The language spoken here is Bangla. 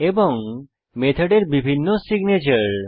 এবং মেথডের বিভিন্ন সিগনেচর